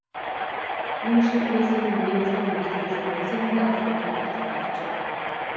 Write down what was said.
мен үшін ел сенімінен асқан мәртебе жоқ ол сенімді ақтаудан артық бақыт жоқ